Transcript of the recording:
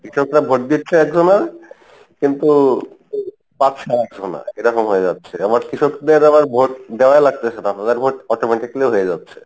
কৃষকরা vote দিচ্ছে একজনার কিন্তু পাচ্ছে আরেক জনা এরকম হয়ে যাচ্ছে আবার কৃষকদের আবার vote দেওয়া লাগতেসে না তাদের vote automatically হয়ে যাচ্ছে।